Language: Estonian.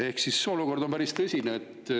Ehk siis olukord on päris tõsine.